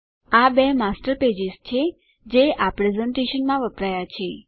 આ બે master pages છે જે આ પ્રેઝેંટેશનમાં વપરાયા છે